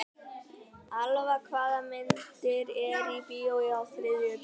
Elva, hvaða myndir eru í bíó á þriðjudaginn?